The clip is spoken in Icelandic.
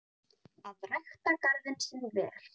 Að rækta garðinn sinn vel.